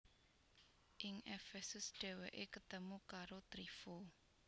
Ing Efesus dhèwèké ketemu karo Tryfo